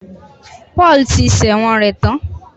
Paul ti sẹ̀wọ̀n rẹ̀ tán